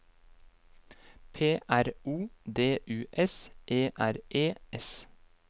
P R O D U S E R E S